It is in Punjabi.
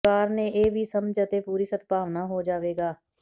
ਪਰਿਵਾਰ ਨੇ ਇਹ ਵੀ ਸਮਝ ਅਤੇ ਪੂਰੀ ਸਦਭਾਵਨਾ ਹੋ ਜਾਵੇਗਾ